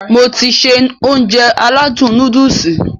Mo ti se Ounjẹ aládùn nóódùsì